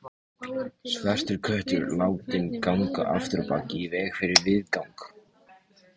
Svartur köttur látinn ganga afturábak í veg fyrir viðfang.